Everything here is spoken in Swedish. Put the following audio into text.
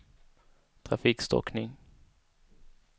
trafikstockning